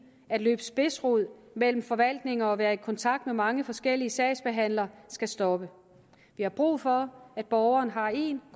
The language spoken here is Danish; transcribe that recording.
at løbe spidsrod mellem forvaltninger og være i kontakt med mange forskellige sagsbehandlere skal stoppe vi har brug for at borgeren har en